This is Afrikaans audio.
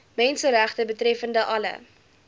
menseregte betreffende alle